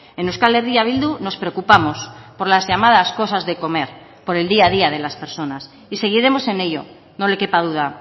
en euskal herria bildu nos preocupamos por las llamadas cosas de comer por el día a día de las personas y seguiremos en ello no le quepa duda